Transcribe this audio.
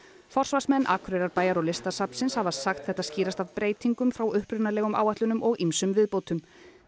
forsvarsmenn Akureyrarbæjar og Listasafnsins hafa sagt þetta skýrast af breytingum frá upprunalegum áætlunum og ýmsum viðbótum